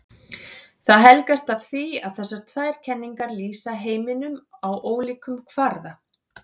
Það helgast af því að þessar tvær kenningar lýsa heiminum á ólíkum kvarða.